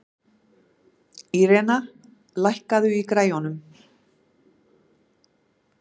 Irena, lækkaðu í græjunum.